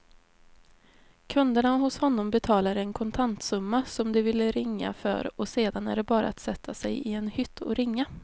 Kunderna hos honom betalar en kontantsumma som de vill ringa för och sedan är det bara att sätta sig i en hytt och ringa.